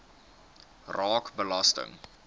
raak belasting